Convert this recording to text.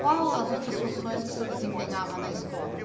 Qual as outras funções que o senhor desempenhava na escola?